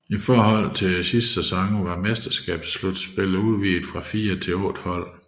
I forhold til den foregående sæson var mesterskabsslutspillet udvidet fra fire til otte hold